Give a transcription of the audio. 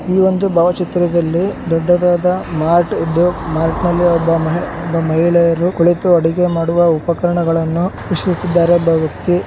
ಈ ಒಂದು ಭಾವಚಿತ್ರದಲ್ಲಿ ದೊಡ್ಡದಾದ ಮಾರ್ಟ್ ಇದ್ದು ಮಾರ್ಟ್ನಲ್ಲಿ ಒಬ್ಬ ಮಹಿಳೆ ಮಹಿಳೆಯರು ಕುಳಿತು ಅಡುಗೆ ಮಾಡುವ ಉಪಕಾರಣಗಳನ್ನು ವೀಕ್ಷಿಸುತ್ತಿದ್ದಾರೆ ಒಬ್ಬ ವ್ಯಕ್ತಿ --